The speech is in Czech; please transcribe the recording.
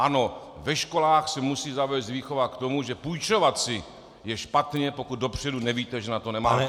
Ano, ve školách se musí zavést výchova k tomu, že půjčovat si je špatně, pokud dopředu nevíte, že na to nemáte.